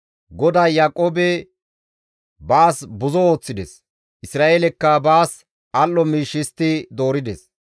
GODAY Yaaqoobe baas buzo ooththides; Isra7eelekka baas al7o miish histti doorides.